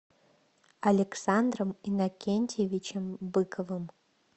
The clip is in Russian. александром иннокентьевичем быковым